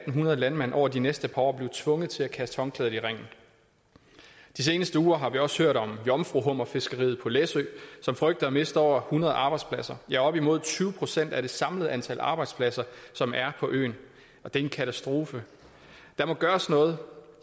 hundrede landmænd over de næste par år blive tvunget til at kaste håndklædet i ringen de seneste uger har vi også hørt om jomfruhummerfiskeriet på læsø som frygter at miste over hundrede arbejdspladser ja op imod tyve procent af det samlede antal arbejdspladser som er på øen og det er en katastrofe der må gøres noget